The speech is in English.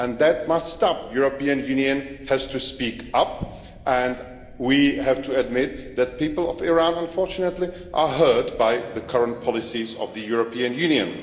That must stop. The European Union has to speak up and we have to admit that the people of Iran, unfortunately, are hurt by the current policies of the European Union.